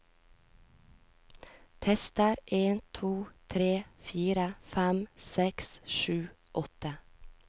Tester en to tre fire fem seks sju åtte